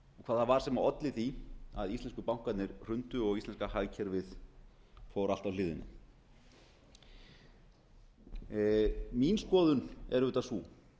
hvað það var sem olli því að íslensku bankarnir hrundu og íslenska hagkerfið fór allt á hliðina mín skoðun er auðvitað sú